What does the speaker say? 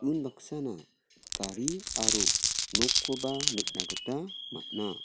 unbaksana gari aro nokkoba nikna gita man·a.